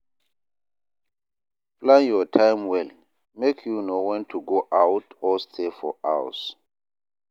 Plan your time well, make you know wen to go out or stay for house.